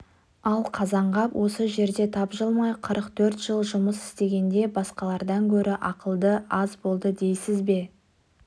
ал қазанғап осы жерде тапжылмай қырық төрт жыл жұмыс істегенде басқалардан гөрі ақылы аз болды дейсіз бе